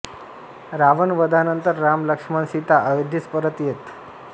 रावण वधानंतर राम लक्ष्मण सीता अयोध्येस परत येत